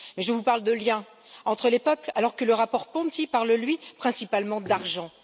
Mais je vous parle de lien entre les peuples, alors que le rapport Ponti parle, lui, principalement d'argent.